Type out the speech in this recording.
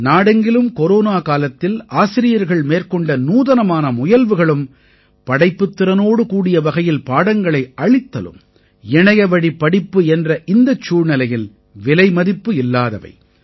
நாடெங்கிலும் கொரோனா காலத்தில் ஆசிரியர்கள் மேற்கொண்ட நூதனமான முயல்வுகளும் படைப்புத்திறனோடு கூடிய வகையில் பாடங்களை அளித்தலும் இணையவழிப் படிப்பு என்ற இந்த சூழ்நிலையில் விலைமதிப்பில்லாதவை